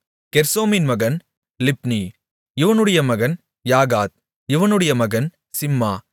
கெர்சோமின் மகன் லிப்னி இவனுடைய மகன் யாகாத் இவனுடைய மகன் சிம்மா